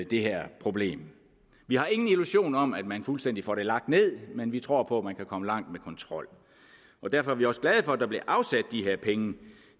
det her problem vi har ingen illusion om at man fuldstændig får lagt det ned men vi tror på at man kan komme langt med kontrol derfor er vi også glade for at der bliver afsat de her penge